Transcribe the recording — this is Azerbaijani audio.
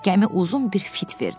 Gəmi uzun bir fit verdi.